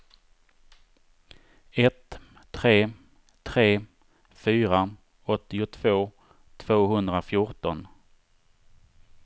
ett tre tre fyra åttiotvå tvåhundrafjorton